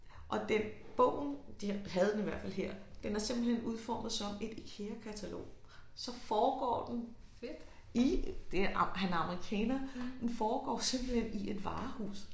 Og den bogen de havde den i hvert fald her den er simpelthen udformet som et Ikeakatalog så foregår den i det han er han er amerikaner den foregår simpelthen i et varehus